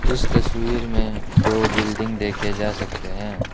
इस तस्वीर में दो बिल्डिंग देखे जा सकते हैं।